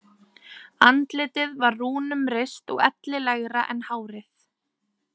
Andlitið var rúnum rist og ellilegra en hárið.